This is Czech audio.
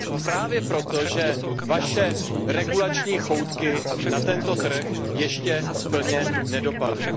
Právě proto, že vaše regulační choutky na tento trh ještě plně nedopadly.